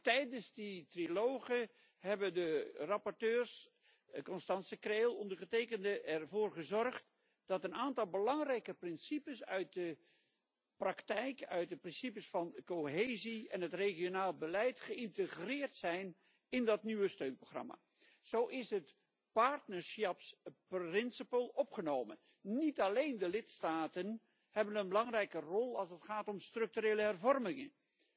Tijdens die trialogen hebben de rapporteurs, Constanze Krehl, en ondergetekende, ervoor gezorgd dat een aantal belangrijke beginselen uit de praktijk, uit de beginselen van cohesie en het regionaal beleid geïntegreerd zijn in dat nieuwe steunprogramma. Zo is het partnerschapsbeginsel opgenomen. Niet alleen de lidstaten hebben een belangrijke rol als het gaat om structurele hervormingen.